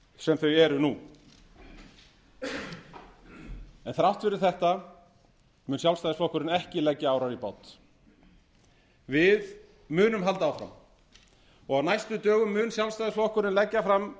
sem þau eru nú þrátt fyrir þetta mun sjálfstæðisflokkurinn ekki leggja árar í bát við munum halda áfram og á næstu dögum mun sjálfstæðisflokkurinn leggja fram